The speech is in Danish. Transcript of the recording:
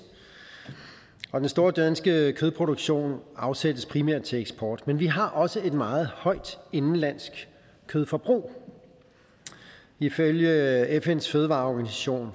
og den store danske kødproduktion afsættes primært til eksport men vi har også et meget højt indenlandsk kødforbrug og ifølge fns fødevareorganisation